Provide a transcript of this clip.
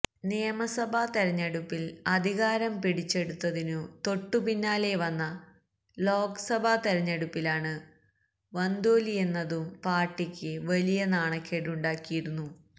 നിയമസഭാ തെരഞ്ഞെടുപ്പില് അധികാരം പിടിച്ചെടുത്തതിനു തൊട്ടുപിന്നാലെ വന്ന ലോക്സഭാ തെരഞ്ഞെടുപ്പിലാണ് വന്തോല്വിയെന്നതും പാര്ട്ടിക്ക് വലിയ നാണക്കേടുണ്ടാക്കിയിരുന്നു